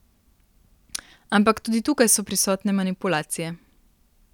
Ampak tudi tukaj so prisotne manipulacije.